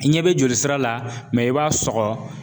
I ɲɛ bɛ joli sira la i b'a sɔgɔ